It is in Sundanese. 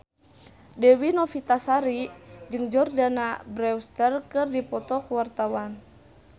Dewi Novitasari jeung Jordana Brewster keur dipoto ku wartawan